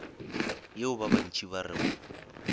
yeo ba bantši ba rego